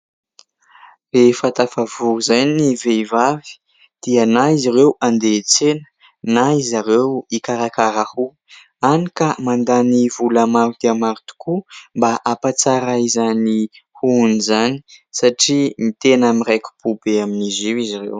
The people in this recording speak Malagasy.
Rehefa tafavory izay ny vehivavy dia na izy ireo handeha hiantsena na izy ireo hikarakara hoho, hany ka mandany vola maro dia maro tokoa mba hampatsara izany hohony izany satria tena miraiki-po be amin'izy io izy ireo.